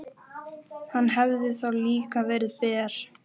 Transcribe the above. Hann hefði þá líka verið ber.